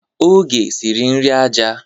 Oge siri nri aja.